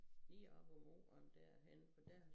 Lige op af muren dér inde for dér